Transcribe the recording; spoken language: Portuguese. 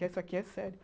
Essa aqui é sério.